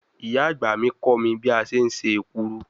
Iya agba mi ko mi bi a se se ekuru